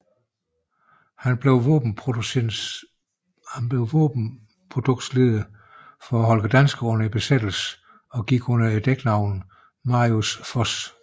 Han blev våbenproduktionsleder for Holger Danske under besættelsen og gik under dæknavnet Marius Foss